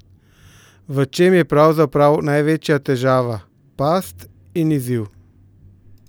V čem je pravzaprav največja težava, past in izziv?